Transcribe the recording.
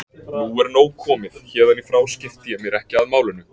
Nú er nóg komið, héðan í frá skipti ég mér ekki af málinu.